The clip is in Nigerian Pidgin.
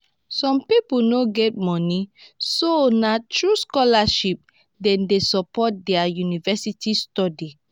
some people no get money so nah through scholarship dem dey support their university studies.